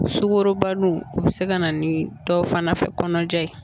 Sukaroba nun o bi se ka na ni dɔw fana fɛ kɔnɔnaja ye